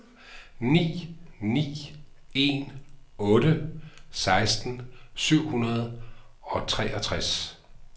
ni ni en otte seksten syv hundrede og treogtres